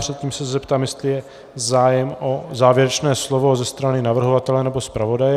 Předtím se zeptám, jestli je zájem o závěrečné slovo ze strany navrhovatele nebo zpravodaje.